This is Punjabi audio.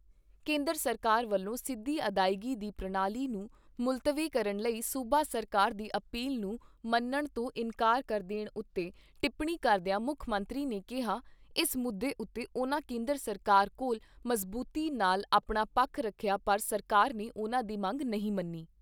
ਕੇਂਦਰ ਸਰਕਾਰ ਵੱਲੋਂ ਸਿੱਧੀ ਅਦਾਇਗੀ ਦੀ ਪ੍ਰਣਾਲੀ ਨੂੰ ਮੁਲਤਵੀ ਕਰਨ ਲਈ ਸੂਬਾ ਸਰਕਾਰ ਦੀ ਅਪੀਲ ਨੂੰ ਮੰਨਣ ਤੋਂ ਇਨਕਾਰ ਕਰ ਦੇਣ ਉਤੇ ਟਿੱਪਣੀ ਕਰਦਿਆਂ ਮੁੱਖ ਮੰਤਰੀ ਨੇ ਕਿਹਾ, " ਇਸ ਮੁੱਦੇ ਉਤੇ ਉਨ੍ਹਾਂ ਕੇਂਦਰ ਸਰਕਾਰ ਕੋਲ ਮਜ਼ਬੂਤੀ ਨਾਲ ਆਪਣਾ ਪੱਖ ਰੱਖਿਆ ਪਰ ਸਰਕਾਰ ਨੇ ਉਨ੍ਹਾਂ ਦੀ ਮੰਗ ਨਹੀਂ ਮੰਨੀ।